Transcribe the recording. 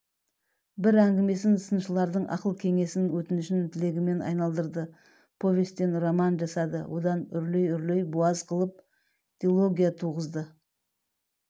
бір әңгімесін сыншылардың ақыл-кеңесң өтініш-тілегімен айналдырды повестен роман жасады одан үрлей-үрлей буаз қылып дилогия туғызды